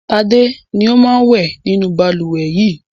Tád ni ó máa ń wẹ̀ nínú balùwẹ̀ yìí.